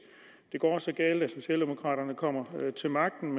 det går så galt at socialdemokraterne kommer til magten